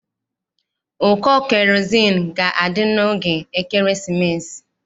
Ụkọ kerozini ga-adị n'oge ekeresimesi